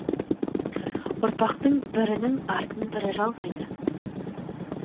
ұрпақтың бірінің артын бірі жалғайды